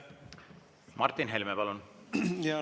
Martin Helme, palun!